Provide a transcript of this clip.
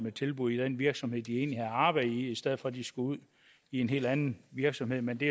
et tilbud i den virksomhed de egentlig har arbejde i i stedet for at de skal ud i en helt anden virksomhed men det